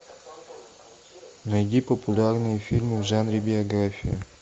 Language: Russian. найди популярные фильмы в жанре биография